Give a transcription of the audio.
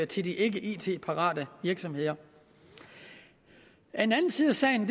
til de ikke it parate virksomheder en anden side af sagen